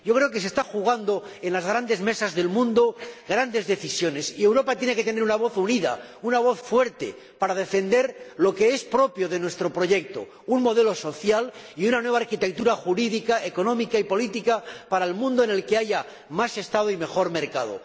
Creo que se están jugando en las grandes mesas del mundo grandes decisiones y Europa tiene que tener una voz unida, una voz fuerte para defender lo que es propio de nuestro proyecto un modelo social y una nueva arquitectura jurídica, económica y política para un mundo en el que haya más Estado y mejor mercado.